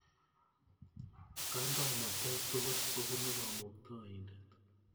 Kandoinatet tukul kopunu Kamuktaindet